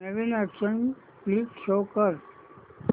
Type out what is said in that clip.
नवीन action flick show कर